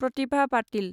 प्रतिभा पातिल